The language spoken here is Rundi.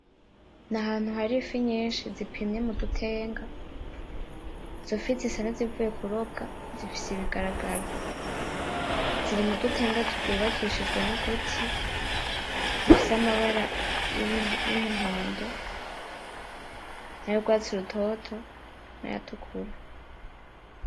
N’ahantu hari ifi nyishi zipimye mu dutenga, izofi zisa n'izivuye kurobwa zifise ibigaragaro. Ziri mu dutenga twubakishijwe n'uduti dufise amabara y'umuhondo n'ayurwatsi rutoto n'ayatukura.